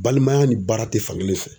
Balimaya ni baara tɛ fankelen fɛ.